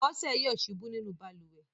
Bọ́sẹ̀ yọ̀ ṣubú nínú balùwẹ̀.